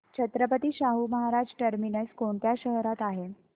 Chhatrapati Shahu Maharaj terminus कोणत्या शहरात आहे